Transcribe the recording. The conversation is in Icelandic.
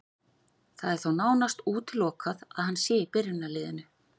Það er þó nánast útilokað að hann sé í byrjunarliðinu.